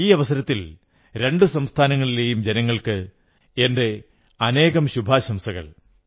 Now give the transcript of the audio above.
ഈ അവസരത്തിൽ രണ്ടു സംസ്ഥാനങ്ങളിലെയും ജനങ്ങൾക്ക് എന്റെ അനേകം ശുഭാശംസകൾ